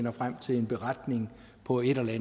går i gang med